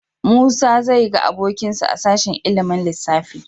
Musa zai ga abokinsa a sashen ilimin lissafi.